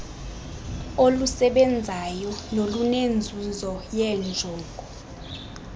olusebenzayo nolunenzuzo yeenjongo